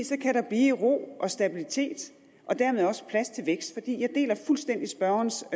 så kan der blive ro og stabilitet og dermed også plads til vækst for jeg deler fuldstændig spørgerens